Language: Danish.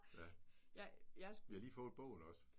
Ja. Vi har lige fået bogen også